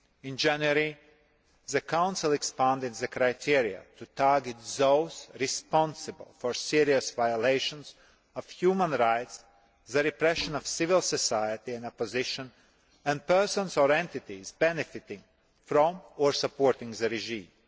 In January, the Council expanded the criteria to target those responsible for serious violations of human rights, the repression of civil society and opposition and persons or entities benefiting from or supporting the regime.